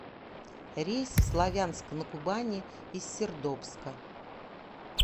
рейс в славянск на кубани из сердобска